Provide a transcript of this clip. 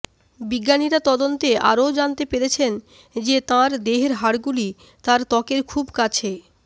বিজ্ঞানীরা তদন্তে আরও জানতে পেরেছেন যে তাঁর দেহের হাড়গুলি তার ত্বকের খুব কাছে